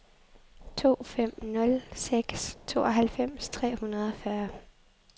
to fem nul seks tooghalvfems tre hundrede og fyrre